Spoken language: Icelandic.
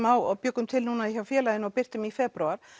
á og bjuggum til núna hjá félaginu og birtum í febrúar